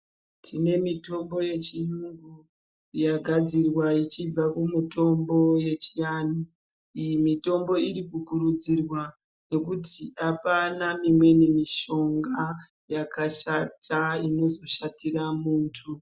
Tine mitombo yevgiyungu yagadzirwa ichinga kumutombo yechianhu iyi mitombo iri kukurudzirwa ngekuti apana imweni mishonga yakashata inozoshatira muntu .